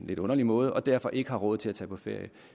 lidt underlig måde og derfor ikke har råd til at tage på ferie